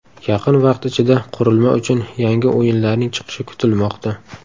Yaqin vaqt ichida qurilma uchun yangi o‘yinlarning chiqishi kutilmoqda.